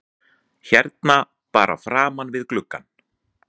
Hérna bara framan við gluggann?